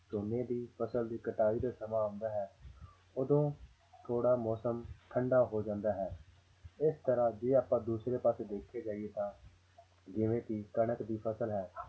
ਝੋਨੇ ਦੀ ਫ਼ਸਲ ਦੀ ਕਟਾਈ ਦਾ ਸਮਾਂ ਆਉਂਦਾ ਹੈ ਉਦੋਂ ਥੋੜ੍ਹਾ ਮੌਸਮ ਠੰਢਾ ਹੋ ਜਾਂਦਾ ਹੈ, ਇਸ ਤਰ੍ਹਾਂ ਜੇ ਆਪਾਂ ਦੂਸਰੇ ਪਾਸੇ ਦੇਖਿਆ ਜਾਈ ਤਾਂ ਜਿਵੇਂ ਕਿ ਕਣਕ ਦੀ ਫ਼ਸਲ ਹੈ